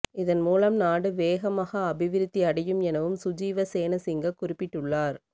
இதன் மூலம் நாடு வேகமாக அபிவிருத்தியடையும் எனவும் சுஜீவ சேனசிங்க குறிப்பிட்டுள்ளார்